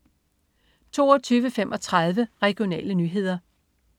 22.35 Regionale nyheder